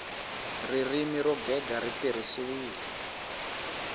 ririmi ro gega ri tirhisiwile